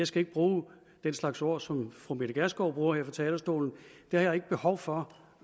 skal bruge den slags ord som fru mette gjerskov bruger her fra talerstolen det har jeg ikke behov for